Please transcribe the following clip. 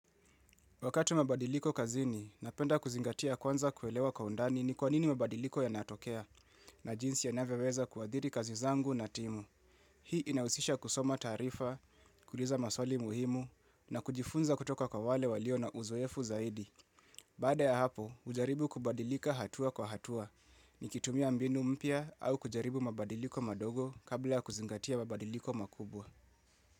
Wakati mabadiliko kazini, napenda kuzingatia kwanza kuelewa kwa undani ni kwanini mabadiliko ya natokea na jinsi yanavyoweza kuadhiri kazi zangu na timu. Hii inahusisha kusoma tarifa, kuuliza maswali muhimu na kujifunza kutoka kwa wale waliona uzoefu zaidi. Baada ya hapo, hujaribu kubadilika hatua kwa hatua, nikitumia mbinu mpya au kujaribu mabadiliko madogo kabla ya kuzingatia mabadiliko makubwa.